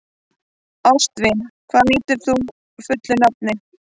Ástvin, hvað heitir þú fullu nafni?